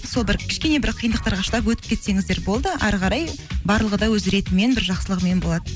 сол бір кішкене бір қиындықтарға шыдап өтіп кетсеңіздер болды әрі қарай барлығы да өз ретімен бір жақсылығымен болады